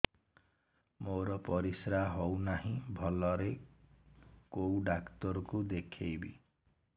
ମୋର ପରିଶ୍ରା ହଉନାହିଁ ଭଲରେ କୋଉ ଡକ୍ଟର କୁ ଦେଖେଇବି